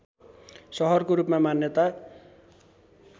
सहरको रूपमा मान्यता